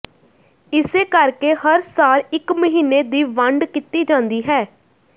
ਇਸੇ ਕਰਕੇ ਹਰ ਸਾਲ ਇਕ ਮਹੀਨੇ ਦੀ ਵੰਡ ਕੀਤੀ ਜਾਂਦੀ ਹੈ